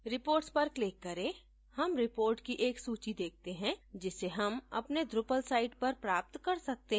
reports पर click करें हम reports की एक सूची देखते हैं जिसे हम अपने drupal site पर प्राप्त कर सकते हैं